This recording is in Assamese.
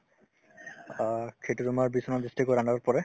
অ, সেইটো তোমাৰ বিশ্বনাথ district ৰ under ত পৰে